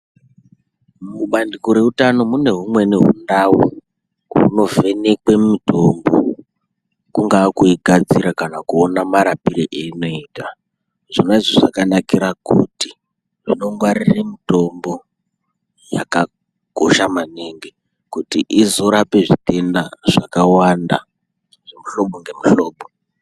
Mubandiko reutano mune humweni hundau hunovhenekwe mitombo. Kungaa kuigadzira kana kuona marapiro einoita. Zvona izvi zvakanakira kuti unongwarire mutombo yakakosha maningi kuti izorape zvitenda zvakawanda zvemuhlobo ngemuhlobo.